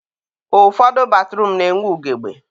ụfọdụ batruum na-enwe ugebe.